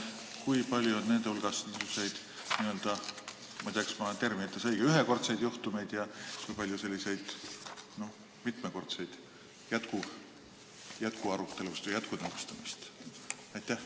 Ja kui palju on niisuguseid – ma ei tea, kas ma kasutan õigeid termineid – ühekordseid juhtumeid ja kui palju jätkuarutelusid või jätkunõustamisi?